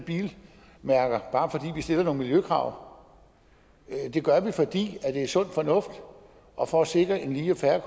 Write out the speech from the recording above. vi stiller nogle miljøkrav det gør vi fordi det er sund fornuft og for at sikre en lige og fair